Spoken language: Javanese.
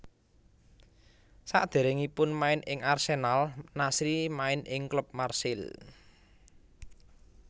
Saderengipun main ing Arsenal Nasri main ing klub Marseille